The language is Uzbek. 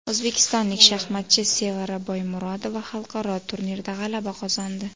O‘zbekistonlik shaxmatchi Sevara Boymurodova xalqaro turnirda g‘alaba qozondi.